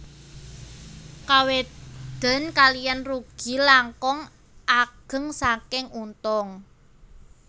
Kawedén kaliyan rugi langkung ageng saking untung